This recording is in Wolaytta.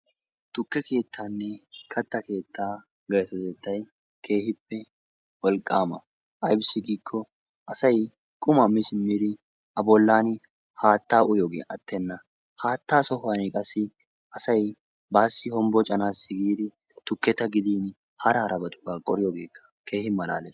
tukke keettaanne katta keettaa gaytotettay keehippe wolqqaama. Aybissi giikko asay qumaa mi simmidi a bollan haattaa uyiyoogee attenna, haattaa sohuwanni qassi asay baassi hombbocanassi giidi tukketa gidin hara harabatakka qohiyooge keehi maalaalees.